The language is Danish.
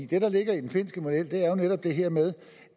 det der ligger i den finske model er jo netop det her med